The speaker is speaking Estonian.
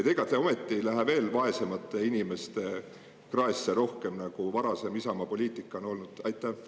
Ega te ometi ei lähe veel rohkem vaesemate inimeste kraesse, nagu varasem Isamaa poliitika on olnud?